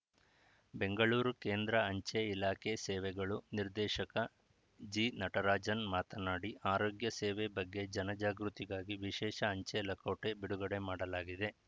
ಬೆಂಗಳೂರು ಕೇಂದ್ರ ಅಂಚೆ ಇಲಾಖೆ ಸೇವೆಗಳು ನಿರ್ದೇಶಕ ಜಿನಟರಾಜನ್‌ ಮಾತನಾಡಿ ಆರೋಗ್ಯ ಸೇವೆ ಬಗ್ಗೆ ಜನಜಾಗೃತಿಗಾಗಿ ವಿಶೇಷ ಅಂಚೆ ಲಕೋಟೆ ಬಿಡುಗಡೆ ಮಾಡಲಾಗಿದೆ